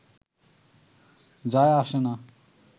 যায় আসে না